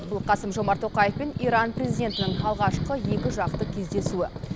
бұл қасым жомарт тоқаев пен иран президентінің алғашқы екіжақты кездесуі